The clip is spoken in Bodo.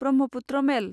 ब्रह्मपुत्र मेल